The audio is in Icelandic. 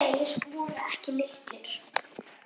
Og þeir voru ekki litlir.